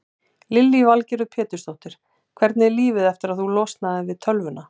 Lillý Valgerður Pétursdóttir: Hvernig er lífið eftir að þú losnaðir við tölvuna?